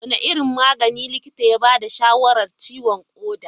Wane irin magani likita ya ba da shawarar ciwon koda?